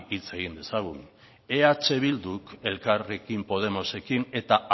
hitz egin dezagun eh bilduk elkarrekin podemosekin eta